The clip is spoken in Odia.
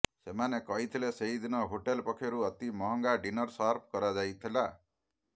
ସେମାନେ କହିଥିଲେ ସେହିଦିନ ହୋଟେଲ ପକ୍ଷରୁ ଅତି ମହଙ୍ଗା ଡିନର ସର୍ଭ କରାଯାଇଥିଲା